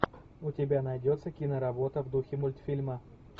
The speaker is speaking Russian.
у тебя найдется киноработа в духе мультфильма